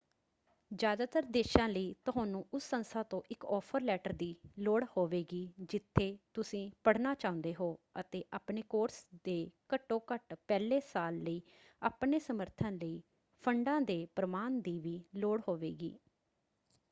ਜ਼ਿਆਦਾਤਰ ਦੇਸ਼ਾਂ ਲਈ ਤੁਹਾਨੂੰ ਉਸ ਸੰਸਥਾ ਤੋਂ ਇੱਕ ਆਫਰ ਲੈਟਰ ਦੀ ਲੋੜ ਹੋਵੇਗੀ ਜਿੱਥੇ ਤੁਸੀਂ ਪੜ੍ਹਨਾ ਚਾਹੁੰਦੇ ਹੋ ਅਤੇ ਆਪਣੇ ਕੋਰਸ ਦੇ ਘੱਟੋ ਘੱਟ ਪਹਿਲੇ ਸਾਲ ਲਈ ਆਪਣੇ ਸਮਰਥਨ ਲਈ ਫੰਡਾਂ ਦੇ ਪ੍ਰਮਾਣ ਦੀ ਵੀ ਲੋੜ ਹੋਵੇਗੀ।